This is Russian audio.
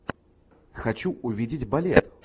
хочу увидеть балет